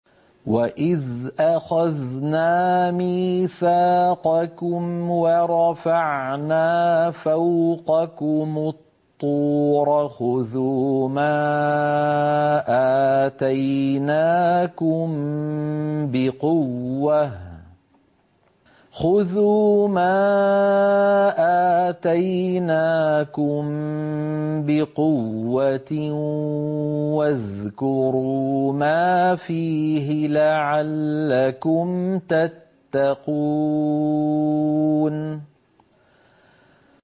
وَإِذْ أَخَذْنَا مِيثَاقَكُمْ وَرَفَعْنَا فَوْقَكُمُ الطُّورَ خُذُوا مَا آتَيْنَاكُم بِقُوَّةٍ وَاذْكُرُوا مَا فِيهِ لَعَلَّكُمْ تَتَّقُونَ